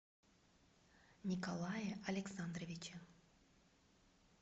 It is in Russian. николае александровиче